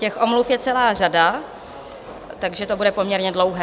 Těch omluv je celá řada, takže to bude poměrně dlouhé.